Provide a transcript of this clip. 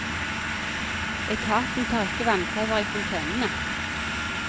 Etaten tar ikke vannprøver i fontenene.